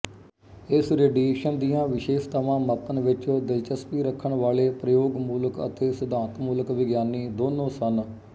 ਇਸ ਰੇਡੀਏਸ਼ਨ ਦੀਆਂ ਵਿਸ਼ੇਸ਼ਤਾਵਾਂ ਮਾਪਣ ਵਿੱਚ ਦਿਲਚਸਪੀ ਰੱਖਣ ਵਾਲੇ ਪ੍ਰਯੋਗਮੂਲਕ ਅਤੇ ਸਿਧਾਂਤਮੂਲਕ ਵਿਗਿਆਨੀ ਦੋਨੋਂ ਸਨ